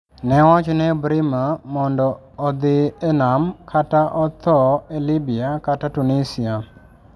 Ne owach ne Ebrima mondo odhi e nam kata otho e Libya kata Tunisia: